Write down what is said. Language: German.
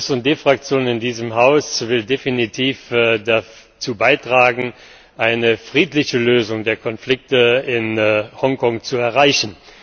Die SD Fraktion in diesem Haus will definitiv dazu beitragen, eine friedliche Lösung der Konflikte in Hongkong zu erreichen.